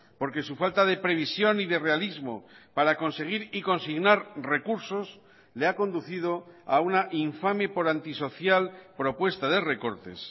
porque su falta de previsión y de realismo para conseguir y consignar recursos le ha conducido a una infame por antisocial propuesta de recortes